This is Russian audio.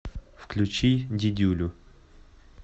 включи дидюлю